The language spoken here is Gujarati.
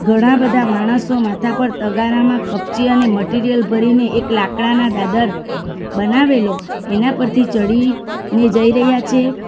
ઘણા બધા માણસો માથા પર તગારામાં કપચી અને મટીરીયલ ભરીને એક લાકડાના દાદર બનાવેલો એના પરથી ચઢી ને જઈ રહ્યા છે.